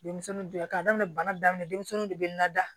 Denmisɛnnin jɔra k'a daminɛ bana daminɛ denmisɛnninw de bɛ na da